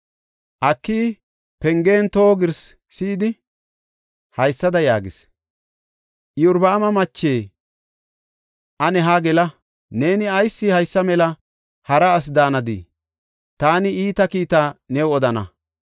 Akiyi pengen toho girsi si7idi haysada yaagis; “Iyorbaama mache, ane haa gela. Neeni ayis haysa mela hara asi daanadii? Taani iita kiita new odana.